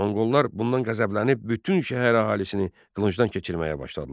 Monqollar bundan qəzəblənib bütün şəhər əhalisini qılıncdan keçirməyə başladılar.